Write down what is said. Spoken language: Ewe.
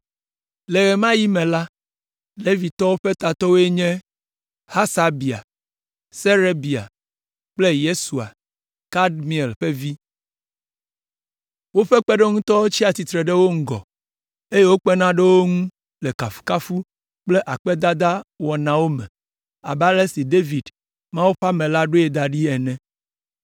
Le ɣe ma ɣi me la, Levitɔwo ƒe tatɔwoe nye: Hasabia, Serebia kple Yesua, Kadmiel ƒe vi. Woƒe kpeɖeŋutɔwo tsia tsitre ɖe wo ŋgɔ, eye wokpena ɖe wo ŋu le kafukafu kple akpedada wɔnawo me abe ale si David, Mawu ƒe ame la ɖoe da ɖi ene.